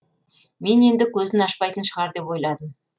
мен енді көзін ашпайтын шығар деп ойладым